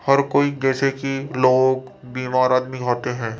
हर कोई जैसे कि लोग बीमार आदमी होते हैं।